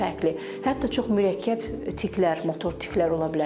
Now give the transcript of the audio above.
Hətta çox mürəkkəb tiklər, motor tiklər ola bilər.